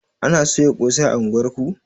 Ana soya ƙosai a unguwar ku?